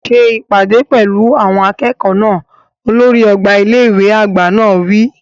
Ṣe ìpàdé pẹ̀lú àwọn akẹ́kọ̀ọ́ náà! Olórí ọgbà ilé ìwé àgbà náà wí.